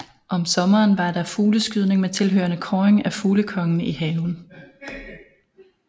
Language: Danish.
Om sommeren var der fugleskydning med tilhørende kåring af fuglekonge i haven